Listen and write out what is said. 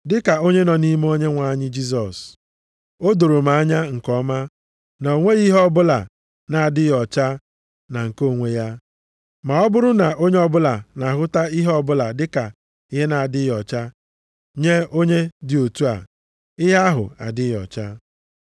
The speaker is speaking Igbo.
Dịka onye nọ nʼime Onyenwe anyị Jisọs, o doro m anya nke ọma na o nweghị ihe ọbụla na-adịghị ọcha na nke onwe ya. Ma ọ bụrụ na onye ọbụla na-ahụta ihe ọbụla dịka ihe na-adịghị ọcha, nye onye dị otu a, ihe ahụ adịghị ọcha.